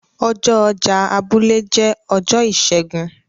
ọjọ ọjà abúlé jẹ Ọjọ́ Ìsẹ́gun.